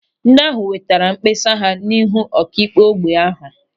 Ndị ahụ wetara mkpesa ha n'ihu ọkaikpe ógbè ahụ.